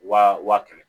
Wa wa kɛmɛ